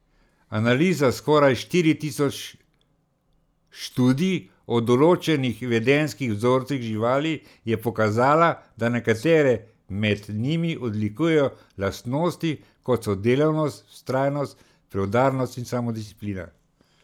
Analiza skoraj štiri tisoč študij o določenih vedenjskih vzorcih živali je pokazala, da nekatere med njimi odlikujejo lastnosti kot so delavnost, vztrajnost, preudarnost in samodisciplina.